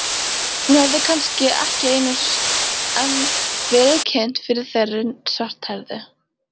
Hún hafði kannski ekki enn verið kynnt fyrir þeirri svarthærðu.